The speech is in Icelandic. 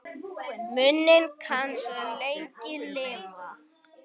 Minning hans mun lengi lifa.